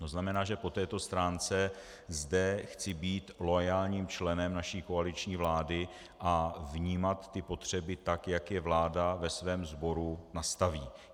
To znamená, že po této stránce zde chci být loajálním členem naší koaliční vlády a vnímat ty potřeby tak, jak je vláda ve svém sboru nastaví.